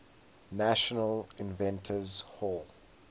national inventors hall